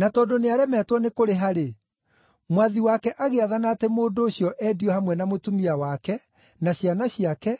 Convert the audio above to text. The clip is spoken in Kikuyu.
Na tondũ nĩaremetwo nĩ kũrĩha-rĩ, mwathi wake agĩathana atĩ mũndũ ũcio, endio hamwe na mũtumia wake, na ciana ciake,